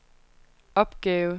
opgave